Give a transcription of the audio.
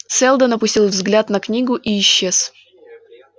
сэлдон опустил взгляд на книгу и исчез